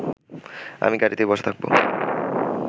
আমি গাড়িতেই বসা থাকব